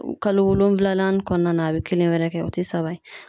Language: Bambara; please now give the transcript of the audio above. Kalo wolonwula kɔnɔna na , a bɛ kelen wɛrɛ kɛ, o tɛ saba ye.